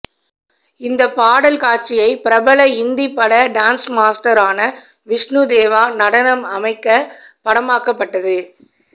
இந்த பாடல் காட்சியை பிரபல இந்திப் பட டான்ஸ்மாஸ்டரான விஷ்ணு தேவா நடனம் அமைக்கப் படமாக்கப்பட்டது